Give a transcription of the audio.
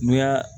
N'u y'a